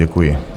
Děkuji.